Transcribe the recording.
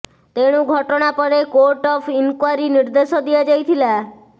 ତେଣୁ ଘଟଣା ପରେ କୋର୍ଟ ଅଫ୍ ଇନ୍କ୍ୱାରୀ ନିର୍ଦ୍ଦେଶ ଦିଆଯାଇଥିଲା